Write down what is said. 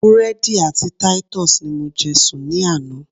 Búrédì àti Titus ni mo je sùn ní àná